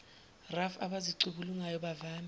raf abazicubungulayo bavame